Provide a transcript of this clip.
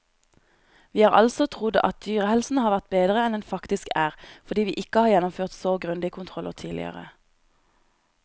Vi har altså trodd at dyrehelsen har vært bedre enn den faktisk er, fordi vi ikke har gjennomført så grundige kontroller tidligere.